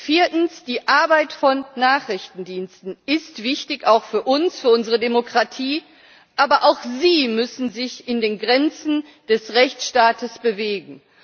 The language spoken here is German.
Viertens Die Arbeit von Nachrichtendiensten ist wichtig auch für uns, für unsere Demokratie, aber auch sie müssen sich in den Grenzen des Rechtsstaates bewegen.